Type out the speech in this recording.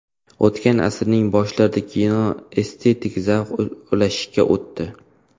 O‘tgan asrning boshlarida kino estetik zavq ulashishga o‘tdi.